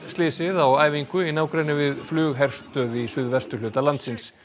slysið á æfingu í nágrenni við flugherstöð í suðvesturhluta landsins